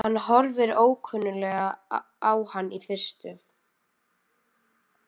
Hann horfir ókunnuglega á hann í fyrstu.